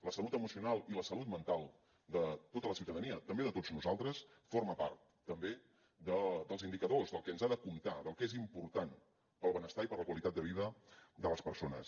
la salut emocional i la salut mental de tota la ciutadania també de tots nosaltres forma part també dels indicadors del que ens ha de comptar del que és important pel benestar i per la qualitat de vida de les persones